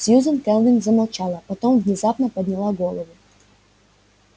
сьюзен кэлвин замолчала потом внезапно подняла голову